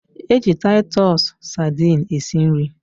E ji taitus Sadini esi nri